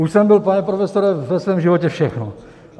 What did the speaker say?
Už jsem byl, pane profesore, ve svém životě všechno.